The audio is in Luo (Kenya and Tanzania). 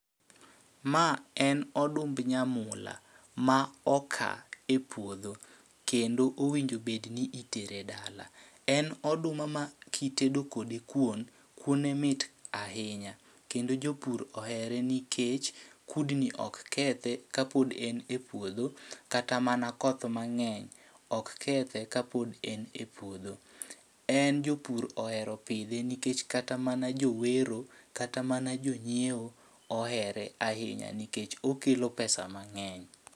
Ma en odumb nyamula, ma oka e puodho kendo owinjo bedni itere dala. En oduma ma kitedo kode kuon, kuone mit ahinya. kendo jopur ohere nikech kudni ok kethe kapod en e puodho, kata mana koth mang'eny ok kethe kapod en e puodho. En jopur ohero pidhe nikech kata mana jowero kata mana jonyiewo ohere ahinya nikech okelo pesa mang'eny.